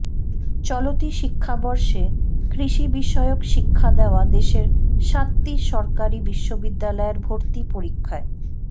চলতি শিক্ষাবর্ষে কৃষিবিষয়ক শিক্ষা দেওয়া দেশের সাতটি সরকারি বিশ্ববিদ্যালয়ের ভর্তি পরীক্ষায়